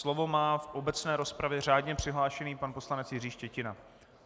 Slovo má v obecné rozpravě řádně přihlášený pan poslanec Jiří Štětina.